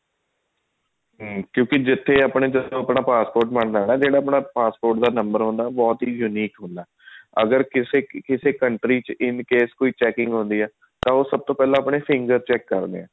ਕਿਉਂਕਿ ਜਿੱਥੇ ਆਪਣਾ passport ਬਣਦਾ ਨਾ ਜਿਹੜਾ ਆਪਣਾ passport ਦਾ number ਹੁੰਦਾ ਉਹ ਬਹੁਤ unique ਹੁੰਦਾ ਅਗਰ ਕਿਸੇ ਕਿਸੇ country ਚ ਕੋਈ checking ਹੁੰਦੀ ਹੈ ਤਾਂ ਉਹ ਸਭ ਤੋਂ ਫੁਲਾਂ ਆਪਣੇ finger check ਕਰਦੇ ਆ